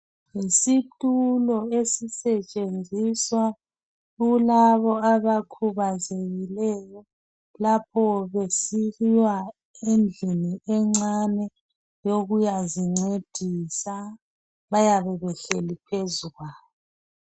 yisitulo esisetshenziswa kulabo abakhubazekileyo lapho besiya endlini encane yokuyazincedisa bayabe behleli phezu kwaso